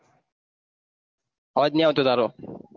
અવાજ નઈ આવતો તારો